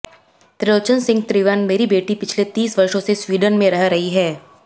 त्रिलोचन सिंह त्रिवन मेरी बेटी पिछले तीस वर्षों से स्वीडन में रह रही है